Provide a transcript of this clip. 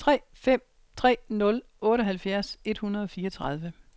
tre fem tre nul otteoghalvfjerds et hundrede og fireogtredive